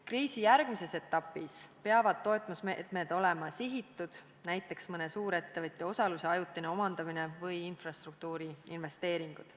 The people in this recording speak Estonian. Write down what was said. Kriisi järgmises etapis peavad toetusmeetmed olema sihitud, näiteks mõne suurettevõtte osaluse ajutine omandamine või infrastruktuuri investeeringud.